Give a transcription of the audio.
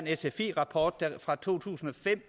en rapport fra to tusind og fem